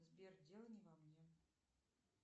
сбер дело не во мне